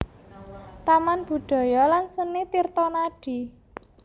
Taman Budaya lan Seni Tirtonadi